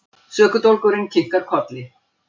Sökudólgurinn kinkar kolli.